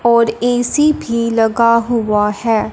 और ए_सी भी लगा हुआ है।